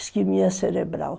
Esquimia cerebral.